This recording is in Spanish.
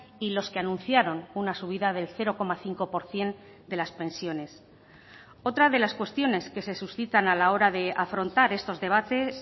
y los que anunciaron una subida del cero coma cinco por ciento de las pensiones otra de las cuestiones que se suscitan a la hora de afrontar estos debates